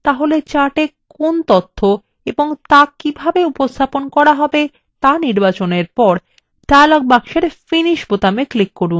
তাহলে chartএ কি তথ্য এবং so কিভাবে উপস্থাপন করা হবে so নির্বাচনের পরে dialog বক্সের finish বোতামে click করুন